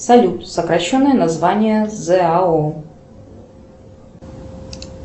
салют сокращенное название зао